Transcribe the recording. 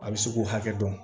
A bɛ se k'u hakɛ dɔn